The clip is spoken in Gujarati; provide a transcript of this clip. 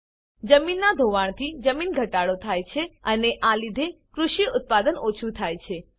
જમીન ધોવાણથી જમીન ઘટાડો થાય છે અને આ લીધે કૃષિ ઉત્પાદન ઓછુ થાય છે